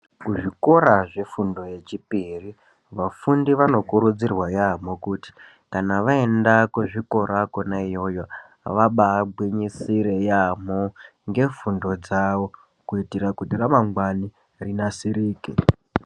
Kuzvikora zvefundo yechipiri vafundi vanokurudzirwa yaamho kuti kana vaenda kuzvikora kwona iyoyo vabaagwinyisire yaamho ngefundo dzavo kuitire kuti ramangwani rinasirike.